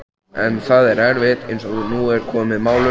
En það er erfitt, eins og nú er komið málum.